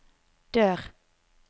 dør